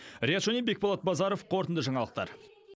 риат шони бекболат базаров қорытынды жаңалықтар